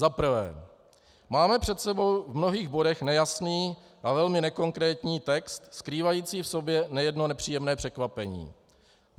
Za prvé, máme před sebou v mnohých bodech nejasný a velmi nekonkrétní text, skrývající v sobě nejedno nepříjemné překvapení.